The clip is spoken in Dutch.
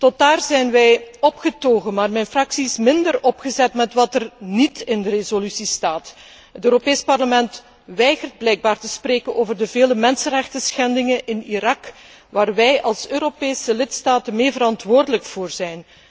Tot daar zijn wij opgetogen, maar mijn fractie is minder opgezet met wat er niet in de resolutie staat. Het Europees Parlement weigert blijkbaar te spreken over de vele mensenrechtenschendingen in Irak, waar wij als Europese lidstaten medeverantwoordelijk voor zijn.